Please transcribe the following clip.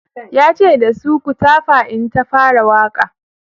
yace da su"ku tafa in ta fara Waƙa!"